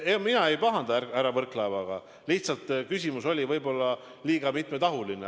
Ja ega mina ei pahanda härra Võrklaevaga, lihtsalt see küsimus oli võib-olla liiga mitmetahuline.